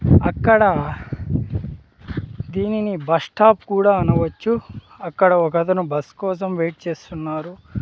అక్కడ దీనిని బస్టాప్ కూడా అనవచ్చు అక్కడ ఒకతను బస్ కోసం వెయిట్ చేస్తున్నారు.